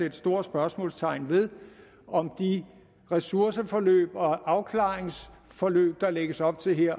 et stort spørgsmålstegn ved om de ressourceforløb og afklaringsforløb der lægges op til her